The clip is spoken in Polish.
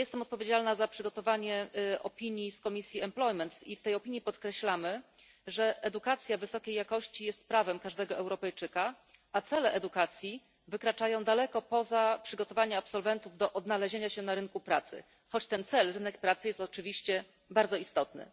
Ja jestem odpowiedzialna za przygotowanie opinii Komisji Zatrudnienia i Spraw Socjalnych i w tej opinii podkreślamy, że edukacja wysokiej jakości jest prawem każdego Europejczyka, a cele edukacji wykraczają daleko poza przygotowanie absolwentów do odnalezienia się na rynku pracy, choć ten cel w postaci rynku pracy jest oczywiście bardzo istotny.